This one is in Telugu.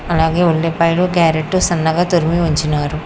అలాగే ఉల్లిపాయలు క్యారెట్ సన్నగా తురిమి ఉంచినారు.